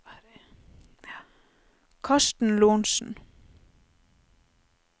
Karsten Lorentzen